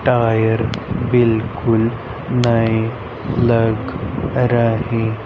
tyre बिल्कुल नए लग रहे--